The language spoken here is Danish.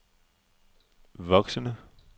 voksende